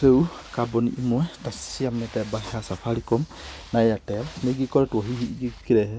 Rĩu kambuni imwe ta cia mĩthemba ya Safaricom na Airtel, nĩigĩkoretwo hihi igĩkĩrehe